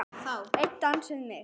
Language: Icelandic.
Einn dans við mig